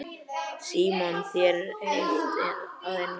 Símon: Þér er heitt að innan?